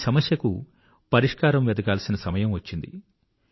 ఈ సమస్యకు పరిష్కారం వెదకాల్సిన సమయం వచ్చింది